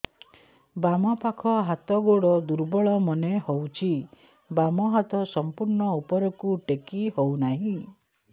ବାମ ପାଖ ହାତ ଗୋଡ ଦୁର୍ବଳ ମନେ ହଉଛି ବାମ ହାତ ସମ୍ପୂର୍ଣ ଉପରକୁ ଟେକି ହଉ ନାହିଁ